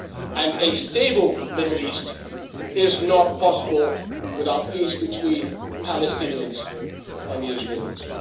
And a stable Middle East is not possible without peace between Palestinians and the Israelis.